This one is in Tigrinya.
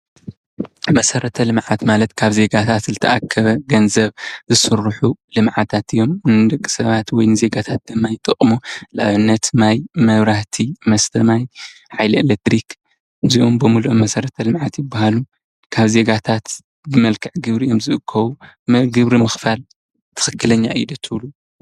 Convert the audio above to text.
መሰረተ ልምዓት ማለት ካብ ዜጋታት ዝተኣከበ ገንዘብ ዝስርሑ ልምዓታት እዮም። ንደቂ ሰባት ወይ ድማ ንዜጋታት ድማ ይጠቅሙ። ንአብነት ማይ፣ መብራህቲ፣ መስተ ማይ፣ ሓይሊ ኢለክትሪክ እዚኦም ብምልኦም መሰረተ ልምዓት ይበሃሉ። ካብ ዜጋታት ብመልክዕ ግብሪ እዮም ዝእከቡ። ግብሪ ምኽፋል ትኽክለኛ እዩ ዶ ትብሉ?